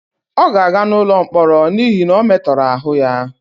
ọ ga-aga n'ụlọ mkpọrọ n'ihi na ọ metoro aru ya